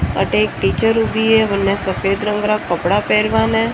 अठ एक पिक्चर ऊबी है बने सफ़ेद रंग रा कपड़ा पहन बा न।